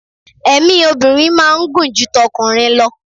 èmi obinrin ma n gun ju t'okunrin lọ